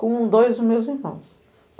Com dois dos meus irmãos.